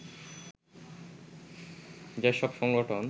যেসব সংগঠন